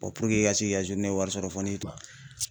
i ka se k'i ka wari sɔrɔ fɔ n'i